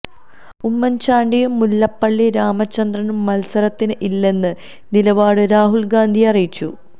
ഉമ്മന് ചാണ്ടിയും മുല്ലപ്പളളി രാമചന്ദ്രനും മത്സരത്തിന് ഇല്ലെന്ന നിലപാട് രാഹുല് ഗാന്ധിയെ അറിയിച്ചു